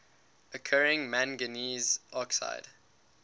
occurring manganese dioxide